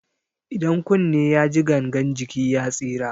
Idan kunne yaji gangan jiki ya tsira.